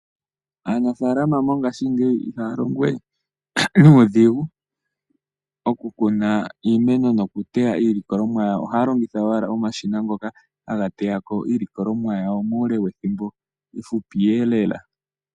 Aanafaalama mongaashingeyi ihaya longowe nuudhigu oku kuna iimeno yawo noku teya iilikolomwa yawo. Ohaya longitha owala omashina ngoka haga teyako iilikolomwa yawo muule wethimbo efupi Lela.